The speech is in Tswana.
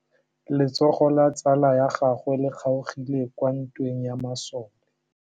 Letsôgô la tsala ya gagwe le kgaogile kwa ntweng ya masole.